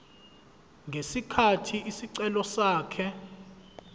ngesikhathi isicelo sakhe